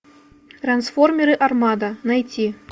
трансформеры армада найти